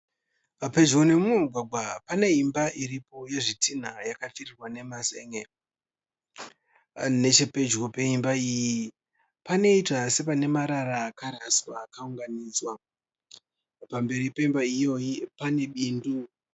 Pedyo nemumwe mugwagwa pane imba iripo yezvitinha yakapfirirwa nemazenge. Nechepedyo peimba iyi panoita sepane marara akaraswa akaunganidzwa. Pamberi pemba iyoyi pane bindu.